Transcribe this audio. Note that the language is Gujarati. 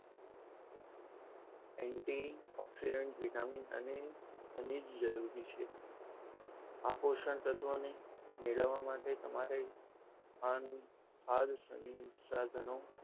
antioxidant vitamin અને એના વિશે આ પોષણ તત્વોની મેળવવા માટે તમને તમારે આ સંસાધનો